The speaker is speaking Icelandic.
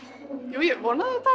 jú ég vonaði auðvitað